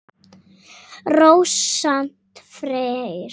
Rósant Freyr.